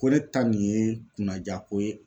Ko ne ta nin ye kunnaja ko ye